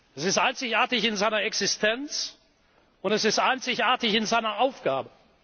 Es ist einzigartig in seiner Existenz und es ist einzigartig in seiner Aufgabe.